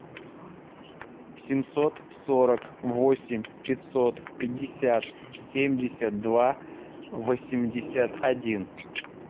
семьсот сорок восемь пятьсот пятьдесят семьдесят два восемьдесят один